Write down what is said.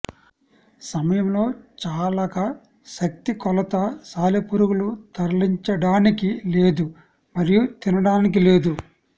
సమయంలో చాలకశక్తి కొలత సాలెపురుగులు తరలించడానికి లేదు మరియు తినడానికి లేదు